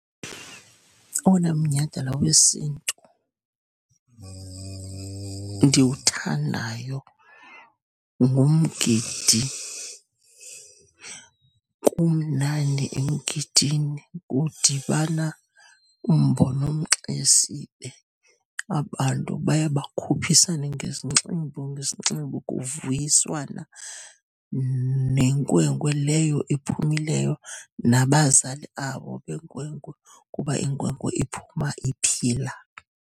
Owona mnyhadala wesintu ndiwuthandayo ngumgidi. Kumnandi emgidini, kudibana umbo nomXesibe, abantu baye bakhuphisane ngezinxibo, ngesinxibo kuviyiswana nenkwenkwe leyo ephumileyo, nabazali abo benkwenkwe kuba inkwenkwe iphume iphila.